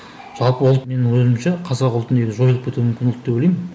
жалпы ұлт менің ойымша қазақ ұлты негізі жойылып кету мүмкін ұлт деп ойлаймын